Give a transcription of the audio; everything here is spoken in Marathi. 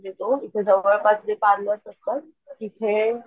देतो इथे जवळपास आपले पार्लर असतात तिथे,